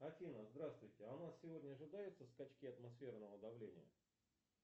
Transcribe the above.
афина здравствуйте а у нас сегодня ожидаются скачки атмосферного давления